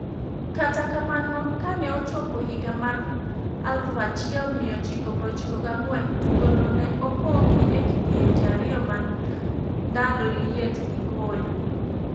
Kata kamano, kane ochopo higa mar 1994 tugo no ne opogi e kidienje ariyo ma ndalo liet gi koyo,